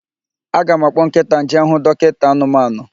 Aga m akpọ nkịta m jee hụ dọkinta anụmanụ.